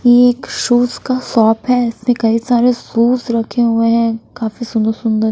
ये एक शूज का शॉप है इसमे कई सारे शूज रखे हुए है काफी सुंदर-सुंदर।